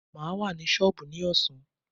Maa wà ní sọọbù ní ọ̀sán.